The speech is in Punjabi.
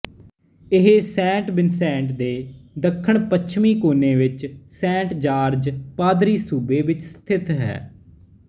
ਇਹ ਸੇਂਟ ਵਿਨਸੈਂਟ ਦੇ ਦੱਖਣਪੱਛਮੀ ਕੋਨੇ ਵਿੱਚ ਸੇਂਟ ਜਾਰਜ ਪਾਦਰੀਸੂਬੇ ਵਿੱਚ ਸਥਿਤ ਹੈ